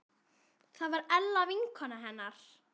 Það var Ella vinkona hennar.